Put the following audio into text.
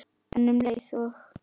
En um leið og